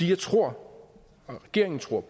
jeg tror og regeringen tror